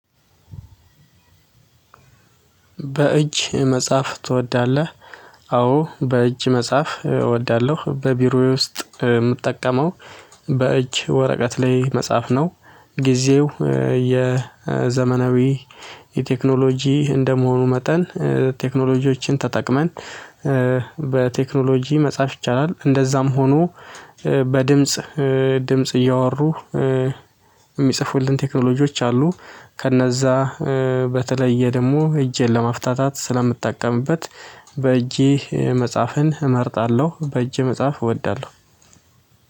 በእጅ መጽሐፍ ትወዳለህ? አዎ በእጅ መጽሐፍ እወዳለሁ በቢሮዬ ውስጥ የምጠቀመው። በእጅ ወረቀት ላይ መጽሐፍ ነው። ጊዜው የዘመናዊ የቴክኖሎጂ እንደመሆኑ መጠን ቴክኖሎጂዎችን ተጠቅመን። በቴክኖሎጂ መጻፍ ይቻላል እንደዛም ሆኖ። በድምጽ ድምጽ እያወሩ የሚጽፉልን ቴክኖሎጂዎች አሉ። ከነዛ በተለየ ደግሞ እጄን ለማፍታታት ስለምጠቀምበት። በእጄ መጽሐፍን እመርጣለሁ በእጄ መጽሐፍ እወዳለሁ